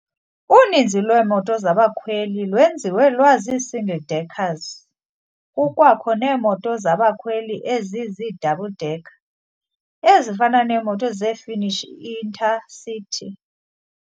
Uninzi lweemoto zabakhweli lwenziwe lwazi- single-deckers- kukwakho neemoto zabakhweli ezizii-double-decker, ezifana neemoto ze-Finnish Inter-City.